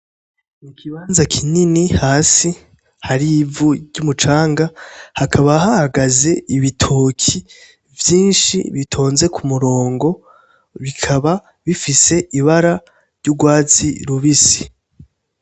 Ikibanza kinini hasi har'ivu ry'umucanga, hakaba hahagaze ibitoki vyinshi bitonze ku murongo bikaba bifise ibara ry'urwatsi rubisi.